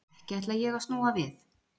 Ekki ætla ég að snúa við?